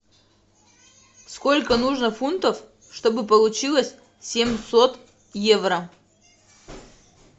сколько нужно фунтов чтобы получилось семьсот евро